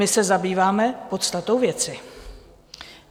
My se zabýváme podstatou věci.